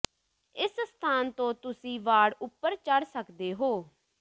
ਇਸ ਸਥਾਨ ਤੋਂ ਤੁਸੀਂ ਵਾੜ ਉਪਰ ਚੜ੍ਹ ਸਕਦੇ ਹੋ